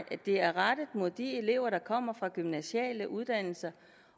er rettet mod de elever der kommer fra gymnasiale uddannelser